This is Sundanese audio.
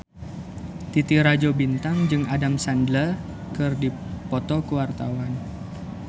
Titi Rajo Bintang jeung Adam Sandler keur dipoto ku wartawan